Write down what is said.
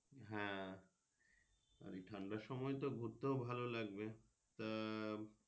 হ্যাঁ আর এই ঠান্ডার সময় তো ঘুরতেও ভালো লাগবে তা আহ